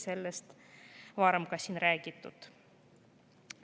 Sellest on ka varem siin räägitud.